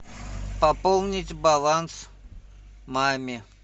пополнить баланс маме